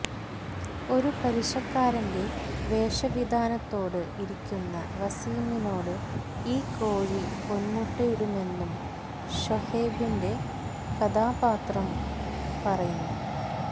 ഒരു പലിശക്കാരന്റെ വേഷവിധാനത്തോടെ ഇരിക്കുന്ന വസീമിനോട് ഈ കോഴി പൊന്മുട്ടയിടുമെന്നും ഷൊഹൈബിന്റെ കഥാപാത്രം പറയുന്നു